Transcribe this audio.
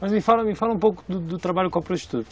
Mas me fala me fala um pouco do do trabalho com a prostituta.